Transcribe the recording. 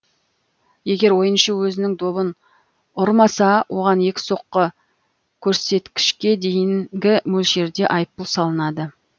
егер ойыншы өзінің добын ұрмаса оған екі соққы көрсеткішке дейінгі мөлшерде айыппұл салынады